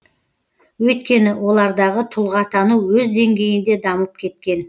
өйткені олардағы тұлғатану өз деңгейінде дамып кеткен